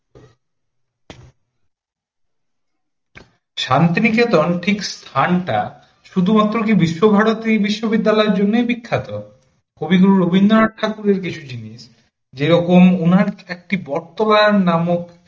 শান্তিনিকেতন ঠিক থানটা শুধুমাত্র কি বিশ্বভারতী বিশ্ববিদ্যালয়ের জন্যই বিখ্যাত? কবিগুরু রবীন্দ্রনাথ ঠাকুরের কিছু জিনিস যে রকম ওনার একটি বটতলার নামও